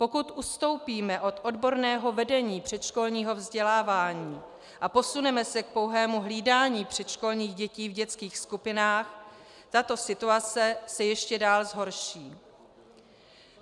Pokud ustoupíme od odborného vedení předškolního vzdělávání a posuneme se k pouhému hlídání předškolních dětí v dětských skupinách, tato situace se ještě dál zhorší.